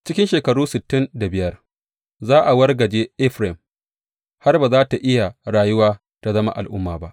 Cikin shekaru sittin da biyar za a wargaje Efraim har ba za tă iya rayuwa ta zama al’umma ba.